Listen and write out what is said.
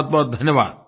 बहुतबहुत धन्यवाद